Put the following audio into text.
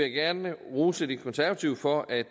gerne rose de konservative for at